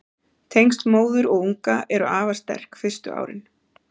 tengsl móður og unga eru afar sterk fyrstu árin